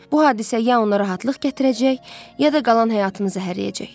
Bu hadisə ya onlara rahatlıq gətirəcək, ya da qalan həyatını zəhərləyəcək.